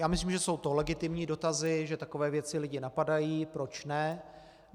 Já myslím, že jsou to legitimní dotazy, že takové věci lidi napadají, proč ne.